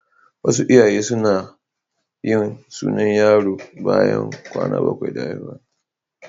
Wasu iyaye suna yin sunan yaro bayan kwana bakwai da haihuwa.